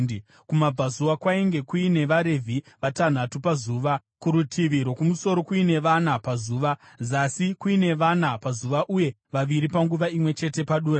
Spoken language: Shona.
Kumabvazuva kwainge kuine vaRevhi vatanhatu pazuva, kurutivi rwokumusoro kuine vana pazuva, zasi kuine vana pazuva uye vaviri panguva imwe chete padura.